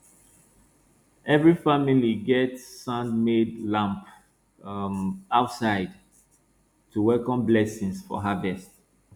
every family get sandmade lamp um outside to welcome blessings for harvest